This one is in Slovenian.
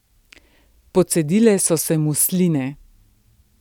Pocedile so se mu sline.